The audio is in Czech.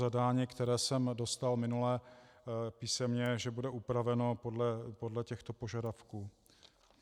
Zadání, které jsem dostal minule písemně, že bude upraveno podle těchto požadavků.